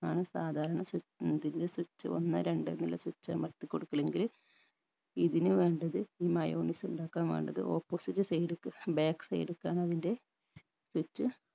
ആണ് സാധാരണ സ്വി ഇതിന്റെ switch ഒന്ന് രണ്ട് എന്നുള്ള switch അമർത്തിക്കൊടുക്കല് എങ്കിൽ ഇതിന് വേണ്ടത് ഈ mayonnaise ഇണ്ടാക്കാൻ വേണ്ടത് opposite side ക്ക് back side ക്കാന്ന് അതിൻറെ switch